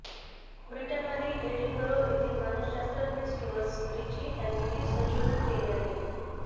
ब्रिटनमधील एडिनबरो येथील मानसशास्त्रज्ञ स्टुअर्ट रिची यांनी हे संशोधन केले आहे